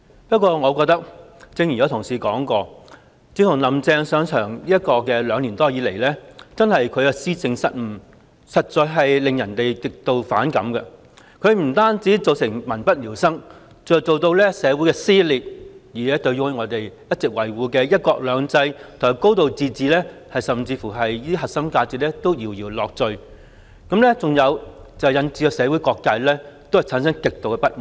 不過我覺得，正如有同事提到，"林鄭"上場兩年多以來，其施政失誤實在令人極度反感，她不單造成民不聊生，更引起社會撕裂，甚至令我們一直維護的"一國兩制"及"高度自治"這些核心價值搖搖欲墜，導致社會各界極度不滿。